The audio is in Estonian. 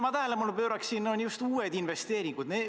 Ma pööraksin tähelepanu just uutele investeeringutele.